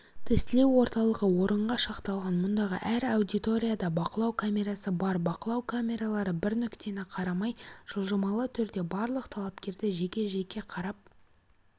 тестілеу орталығы орынға шақталған мұндағы әр аудиторияда бақылау камерасы бар бақылау камералары бір нүктені қарамай жылжымалы түрде барлық талапкерді жеке-жеке қарап